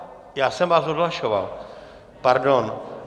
Já jsem vás odhlašoval, pardon.